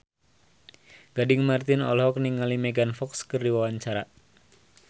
Gading Marten olohok ningali Megan Fox keur diwawancara